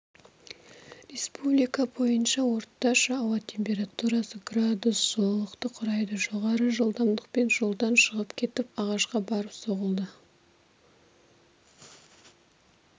республика бойынша орташа ауа температурасы градус жылылықты құрайды жоғарғы жылдамдықпен жолдан шығып кетіп ағашқа барып соғылды